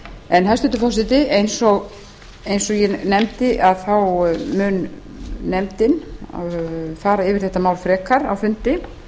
en hæstvirtur forseti eins og ég nefndi þá mun nefndin fara yfir þetta mál frekar á fundi